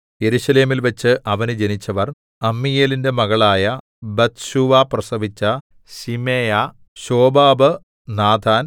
യെരൂശലേമിൽവച്ച് അവന് ജനിച്ചവർ അമ്മീയേലിന്റെ മകളായ ബത്ത്ശൂവ പ്രസവിച്ച ശിമേയാ ശോബാബ് നാഥാൻ